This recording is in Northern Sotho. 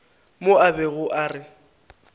mo a bego a re